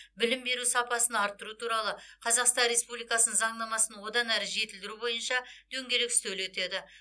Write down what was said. білім беру сапасын арттыру туралы қазақстан республикасының заңнамасын одан әрі жетілдіру бойынша дөңгелек үстел өтеді